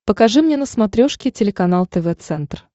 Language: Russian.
покажи мне на смотрешке телеканал тв центр